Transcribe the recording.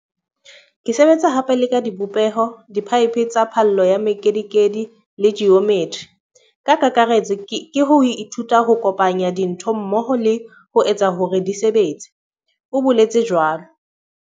"Ke sebetsa hape le ka dibopeho, diphaephe tsa phallo ya mekedikedi le ji ometri. Ka kakaretso ke ho ithuta ho kopanya dintho mmoho le ho etsa hore di sebetse," o boletse jwalo.